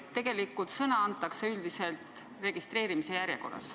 Tegelikult sõna antakse üldiselt registreerimise järjekorras.